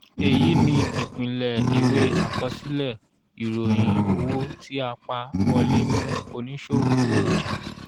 èyí ni ìpìlẹ̀ ìwé àkọsílẹ̀ ìròyìn owó tí a pa wọlé fún oníṣòwò ọjà.